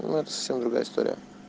ну это совсем другая история